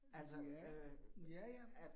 Ja, ja ja